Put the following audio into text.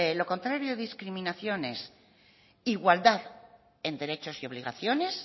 lo contrario de discriminación es igualdad en derechos y obligaciones